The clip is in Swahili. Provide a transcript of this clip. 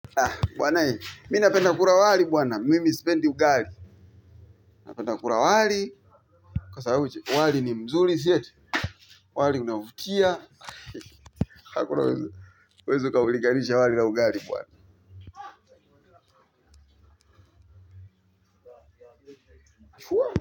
Bwanae, mimi napenda kukula wali bwana mimi sipendi ugali napenda kukula wali kwa sababu umwali ni mzuri si eti. Wali unaovutia. Huwezu ukauliganisha wali na ugali bwana.